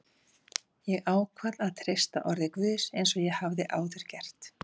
Ég ákvað að treysta orði Guðs eins og ég hafði áður gert.